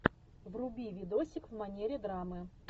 вруби видосик в манере драмы